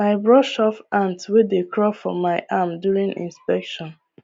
i brush off ants wey dey crawl for my arm during inspection